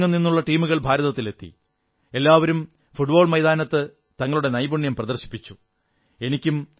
ലോകമെങ്ങും നിന്നുള്ള ടീമുകൾ ഭാരതത്തിലെത്തി എല്ലാവരും ഫുട്ബോൾ മൈതാനത്ത് തങ്ങളുടെ നൈപുണ്യം പ്രദർശിപ്പിച്ചു